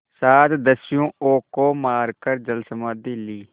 सात दस्युओं को मारकर जलसमाधि ली